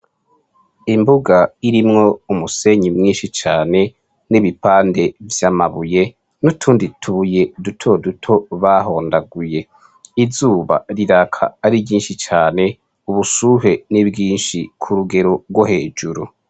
Nimbuga irimwo umusenyi mwinshi cane nibipande vyamabuye nutundi utubuye dutoduto bahondaguye, izuba riraka ari ryinshi cane ubushuhe ni bwinshi cane kurugero rwo hejuru.